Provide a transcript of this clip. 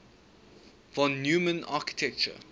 von neumann architecture